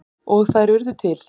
Og þær urðu til.